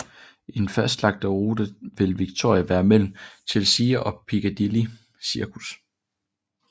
I den fastlagte rute vil Victoria være mellem Chelsea og Piccadilly Circus